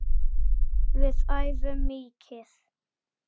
Við æfum mikið.